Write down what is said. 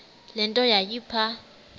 le nto yayipha